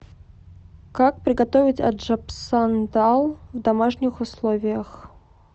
как приготовить аджапсандал в домашних условиях